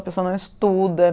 A pessoa não estuda.